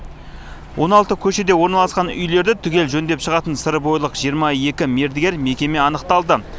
он алты көшеде орналасқан үйлерді түгел жөндеп шығатын сырбойылық жиырма екі мердігер мекеме анықталды